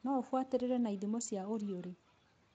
No ũbuatĩrĩre na ithimo cia ũriũrĩ